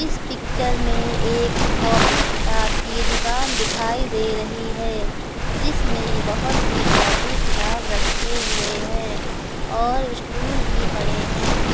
इस पिक्चर में एक कॉपी किताब की दुकान दिखाई दे रही है जिसमें बहोत से कॉपी किताब रखे हैं और स्टूल भी पड़े हैं।